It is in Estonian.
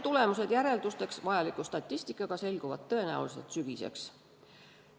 Tulemused järeldusteks vajaliku statistikaga selguvad tõenäoliselt sügiseks.